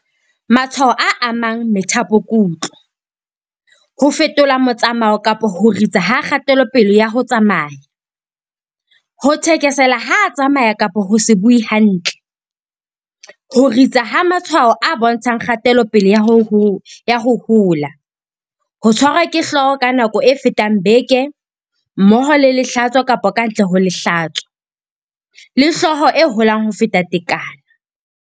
Matshwao a amang methapokutlo, ho fetola motsamao kapa ho ritsa ha kgatelopele ya ho tsamaya, ho thekesela ha a tsamaya kapa ho se bue hantle, ho ritsa ha matshwao a bontshang kgatelopele ya ho hola, ho tshwarwa ke hlooho ka nako e fetang beke mmoho le lehlatso kapa ka ntle ho lehlatso, le hlooho e holang ho feta tekano.